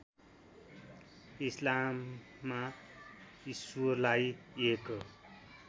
इस्लाममा ईश्वरलाई एक